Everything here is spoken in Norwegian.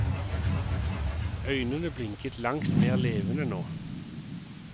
Øynene blinket langt mer levende nå.